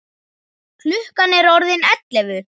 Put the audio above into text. Klukkan er orðin ellefu!